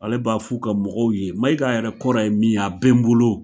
Ale b'a f'u ka mɔgɔw ye, Maiga yɛrɛ kɔrɔ ye min ye a bɛ n bolo